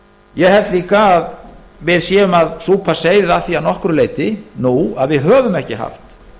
ég held líka að við séum að súpa seyðið af því að nokkru leyti nú að við höfum ekki haft